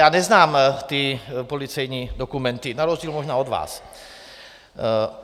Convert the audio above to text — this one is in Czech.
Já neznám ty policejní dokumenty, na rozdíl možná od vás.